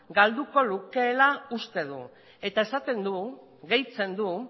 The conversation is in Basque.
galduko lukeela uste du eta gehitzen du